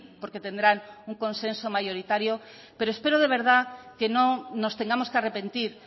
porque tendrán un consenso mayoritario pero espero de verdad que no nos tengamos que arrepentir